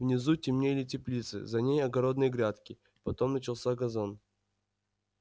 внизу темнели теплицы за ней огородные грядки потом начался газон